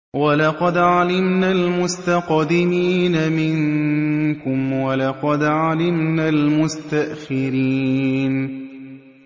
وَلَقَدْ عَلِمْنَا الْمُسْتَقْدِمِينَ مِنكُمْ وَلَقَدْ عَلِمْنَا الْمُسْتَأْخِرِينَ